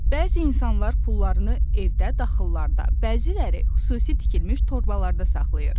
Bəzi insanlar pullarını evdə, daşqıllarda, bəziləri xüsusi tikilmiş torbalarda saxlayır.